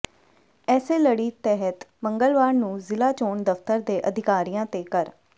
ਇਸੇ ਲੜੀ ਤਹਿਤ ਮੰਗਲਵਾਰ ਨੂੰ ਜ਼ਿਲ੍ਹਾ ਚੋਣ ਦਫ਼ਤਰ ਦੇ ਅਧਿਕਾਰੀਆਂ ਤੇ ਕਰ